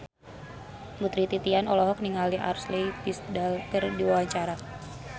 Putri Titian olohok ningali Ashley Tisdale keur diwawancara